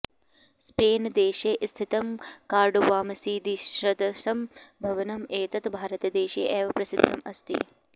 Spain देशे स्थितं कार्डोवामसीदीसदृशं भवनं एतत् भारतदेशे एव प्रसिद्धम् अस्ति